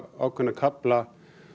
ákveðna kafla